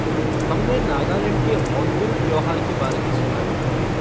हमने नागालैंड के होर्नबिल त्योहार के बारे में सुना है।